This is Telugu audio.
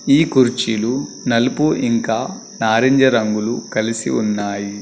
ఈ కుర్చీలు నలుపు ఇంకా నారింజరంగులు కలిసి ఉన్నాయి.